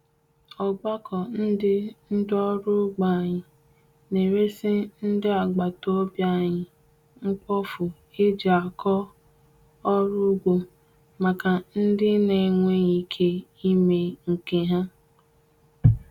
Ogbako ndi ndi oru ugbo anyi, n’eresi ndi agbata obi anyi mkpofu eji ako oru ugbo, maka ndi na-enweghị ike ime nke ha.